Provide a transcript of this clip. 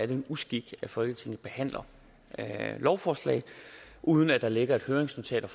det en uskik at folketinget behandler lovforslag uden at der ligger et høringsnotat og